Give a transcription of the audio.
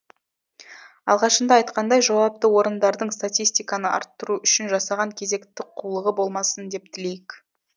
алғашында айтқандай жауапты орындардың статистиканы арттыру үшін жасаған кезекті қулығы болмасын деп тілейік